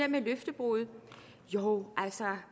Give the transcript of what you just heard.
med løftebrud jo altså